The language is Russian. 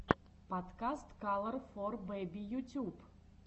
подкаст калор фор бэби ютюб